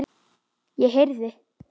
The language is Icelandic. Ég heyrði